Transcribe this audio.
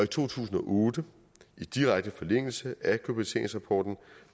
to tusind og otte i direkte forlængelse af globaliseringsrapporten